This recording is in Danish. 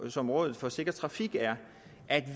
som rådet for sikker trafik at